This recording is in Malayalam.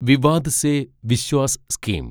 വിവാദ് സെ വിശ്വാസ് സ്കീം